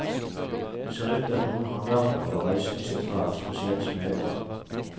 Det ser ut til at noen håndverkere var reisende i sitt fag, spesielt smeder.